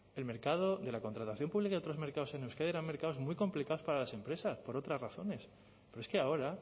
el mercado de la contratación pública y otros mercados en euskadi eran mercados muy complicados para las empresas por otras razones pero es que ahora